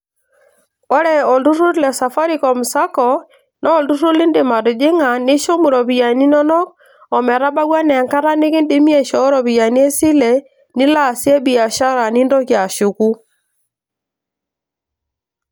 Ore olturrur le safaricom sacco naa olturrur lindim atijing'a nishum iropiyani inonok ometabau enaa enkata nikindimi aishoo iropiyiani esile nilo aasie biashara nintoki ashuku.